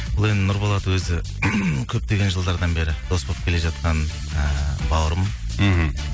бұл енді нұрболат өзі көптеген жылдардан бері дос болып келе жатқан ііі бауырым мхм